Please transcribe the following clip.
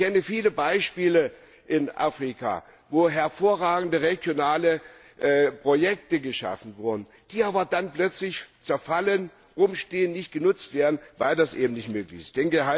Ich kenne viele Beispiele in Afrika, wo hervorragende regionale Projekte geschaffen wurden, die aber dann plötzlich zerfallen, herumstehen, nicht genutzt werden, weil das eben nicht möglich ist.